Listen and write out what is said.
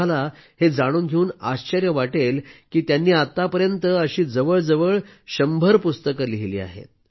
तुम्हाला हे जाणून घेऊन आश्चर्य वाटेल की त्यांनी आतापर्यंत अशी जवळजवळ शंभर पुस्तकं लिहिली आहेत